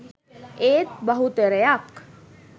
ඒත් බහුතරයක්